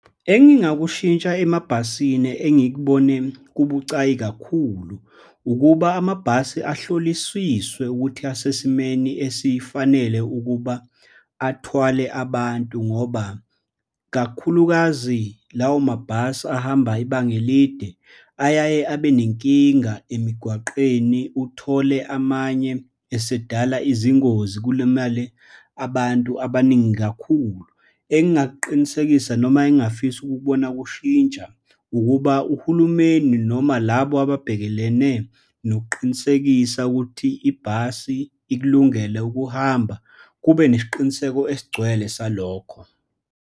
Engingakushintsha emabhasini engikubone kubucayi kakhulu, ukuba amabhasi ahloliswiswe ukuthi asesimeni esifanele ukuba athwale abantu, ngoba kakhulukazi lawo mabhasi ahamba ibanga elide, ayaye abe nenkinga emigwaqeni, uthole amanye asedala izingozi, kulimale abantu abaningi kakhulu. Engingakuqinisekisa noma engingafisa ukukubona kushintsha ukuba uhulumeni, noma labo ababhekelene nokuqinisekisa ukuthi ibhasi ikulungele ukuhamba, kube nesiqiniseko esigcwele salokho.